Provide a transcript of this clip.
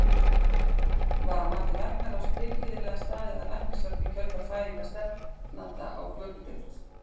Var að mati læknaráðs tilhlýðilega staðið að læknishjálp í kjölfar fæðingar stefnanda á vökudeild?